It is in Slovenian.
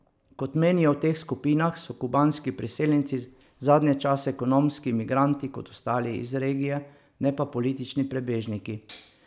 Kot menijo v teh skupinah, so kubanski priseljenci zadnje čase ekonomski migranti kot ostali iz regije, ne pa politični prebežniki.